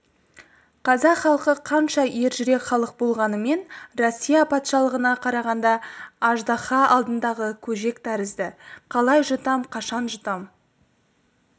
қазақ халқы қанша ер жүрек халық болғанменен россия патшалығына қарағанда аждаһа алдындағы көжек тәрізді қалай жұтам қашан жұтам